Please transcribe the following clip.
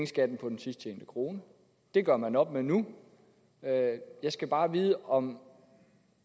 skatten på den sidst tjente krone det gør man op med nu jeg skal bare vide om